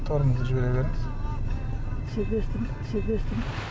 тормозды жібере беріңіз